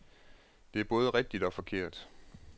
Det er både rigtigt og forkert.